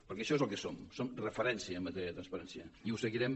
perquè això és el que som som referència en matèria de transparència i ho seguirem